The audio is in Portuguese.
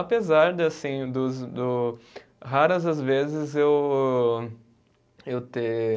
Apesar de assim dos do, raras as vezes eu eu ter.